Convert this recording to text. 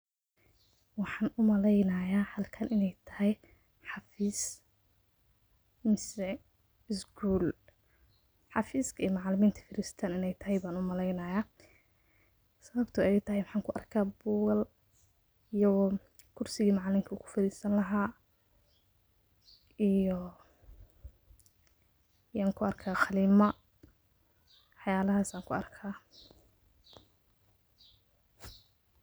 Waxaan u malaynayaa halkan inay tahay xafis mise isguul. Xafiiska ay macalimiinta fadhiistaan in ay tahay baan u malaynayaa. Sabib too ay tahay waxan ku arka hayaa buugal iyo kursigi macanlinka ku fadhiisan lahaa iyo waxaan ku arka hayaa qalimo, wax yaalahas ayaan ku arkaa.